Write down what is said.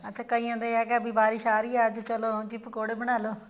ਅੱਚਾ ਕਈਆਂ ਦਾ ਹੈਗਾ ਬਾਰਿਸ਼ ਆ ਰਹੀ ਹੈ ਅੱਜ ਚਲੋ ਜੀ ਪਕੋੜੇ ਬਣਾ ਲੋ